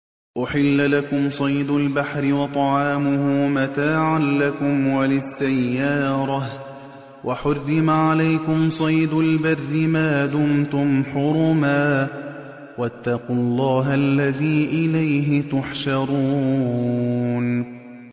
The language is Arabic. أُحِلَّ لَكُمْ صَيْدُ الْبَحْرِ وَطَعَامُهُ مَتَاعًا لَّكُمْ وَلِلسَّيَّارَةِ ۖ وَحُرِّمَ عَلَيْكُمْ صَيْدُ الْبَرِّ مَا دُمْتُمْ حُرُمًا ۗ وَاتَّقُوا اللَّهَ الَّذِي إِلَيْهِ تُحْشَرُونَ